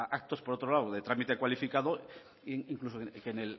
actos por otro lado de trámite cualificado incluso en